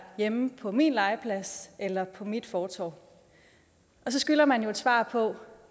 hjemme på min legeplads eller på mit fortov og så skylder man jo et svar på